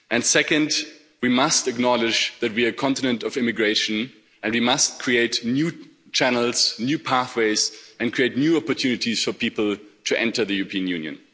Second, we must acknowledge that we are a continent of immigration and we must create new channels and new pathways, and create new opportunities for people to enter the European Union.